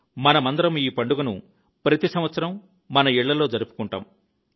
మనమందరం ఈ పండుగను ప్రతి సంవత్సరం మన ఇళ్లలో జరుపుకుంటాం